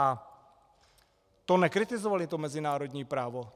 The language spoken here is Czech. A to nekritizovali to mezinárodní právo?